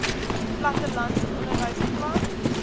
plattelandse onderwys plan